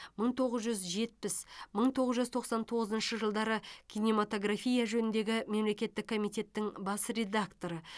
мың тоғыз жүз жетпіс мың тоғыз жүз тоқсан тоғызыншы жылдары кинематография жөніндегі мемлекеттік комитеттің бас редакторы